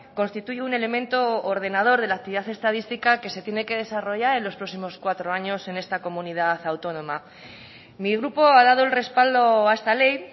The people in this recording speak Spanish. constituye un elemento ordenador de la actividad estadística que se tiene que desarrollar en los próximos cuatro años en esta comunidad autónoma mi grupo ha dado el respaldo a esta ley